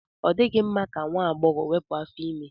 Ọ dịghị mma ka nwa agbọghọ wepụ afọ ime.